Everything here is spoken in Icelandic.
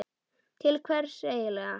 Til hvers eigin lega?